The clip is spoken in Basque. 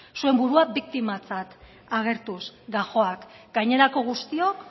zuen burua biktimatzat agertuz gajoak gainerako guztiak